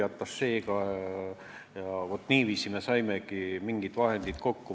Vaat niiviisi me saimegi mingid vahendid kokku.